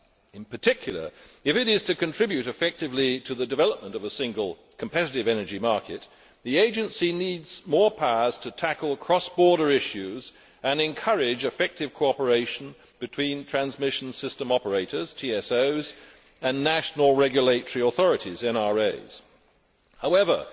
In particular, if it is to contribute effectively to the development of a single, competitive, energy market, the Agency needs more powers to tackle cross border issues and encourage effective cooperation between transmission system operators and national regulatory authorities However,